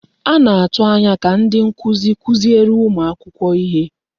A na-atụ anya ka ndị nkuzi kuziere ụmụ akwụkwọ ihe.